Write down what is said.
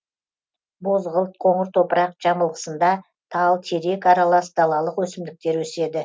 бозғылт қоңыр топырақ жамылғысында тал терек аралас далалық өсімдіктер өседі